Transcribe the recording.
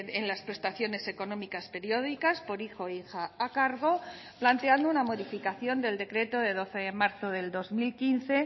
en las prestaciones económicas periódicas por hijo e hija a cargo planteando una modificación del decreto de doce de marzo del dos mil quince